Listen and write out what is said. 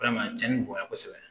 Ala ma cɛnnin bonya kosɛbɛ